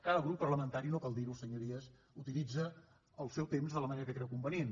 cada grup parlamentari no cal dir ho senyories utilitza el seu temps de la manera que creu convenient